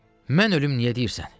Mən ölüm niyə deyirsən?